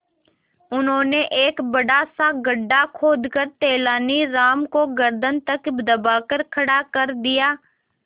उन्होंने एक बड़ा सा गड्ढा खोदकर तेलानी राम को गर्दन तक दबाकर खड़ा कर दिया